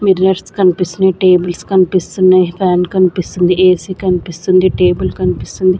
Mirrors కన్పిస్తున్నయ్ tables కన్పిస్తున్నయ్ fan కన్పిస్తుంది ఏసీ కన్పిస్తుంది టేబుల్ కన్పిస్తుంది.